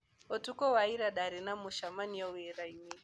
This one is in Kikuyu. Ũtukũ wa ira nĩ ndaarĩ na mũcemanio wĩra-inĩ.